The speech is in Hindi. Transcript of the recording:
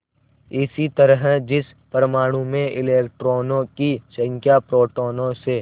इसी तरह जिस परमाणु में इलेक्ट्रॉनों की संख्या प्रोटोनों से